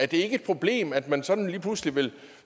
det ikke et problem at man sådan lige pludselig vil